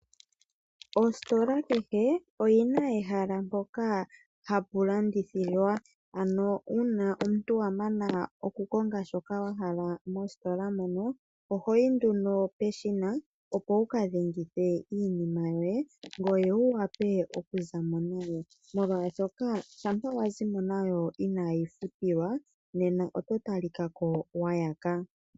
Ostola kehe oyina ehala mpoka hapu landithilwa ano uuna omuntu wamana okukonga shoka wahala mostola mono. Ohoyi nduno peshina opo wuka dhengithe iinima yoye ngoye wu vule okuza mo nayo. Molwashoka shampa wazi mo nayo inayiifutilwa nena oto talika ko wayaka.